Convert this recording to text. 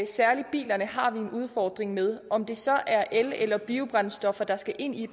særlig bilerne har vi en udfordring med om det så er el eller biobrændstoffer der skal ind i